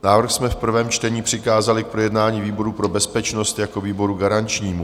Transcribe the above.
Návrh jsme v prvém čtení přikázali k projednání výboru pro bezpečnost jako výboru garančnímu.